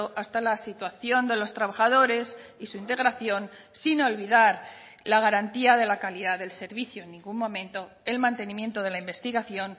hasta la situación de los trabajadores y su integración sin olvidar la garantía de la calidad del servicio en ningún momento el mantenimiento de la investigación